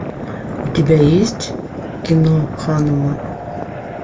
у тебя есть кино ханума